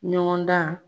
Ɲɔgɔn dan